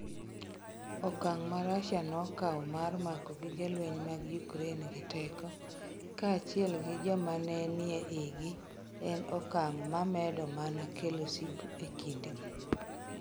Okang ' ma Russia nokawo mar mako gige lweny mag Ukraine gi teko - kaachiel gi joma ne nie igi - en okang ' ma medo mana kelo sigu e kindgi.